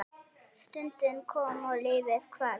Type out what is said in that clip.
Stundin kom og lífið hvarf.